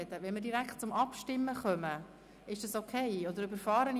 Ist es in Ordnung, wenn wir direkt abstimmen, oder überrumple ich jemanden?